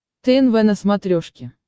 тнв на смотрешке